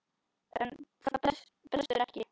En það brestur ekki.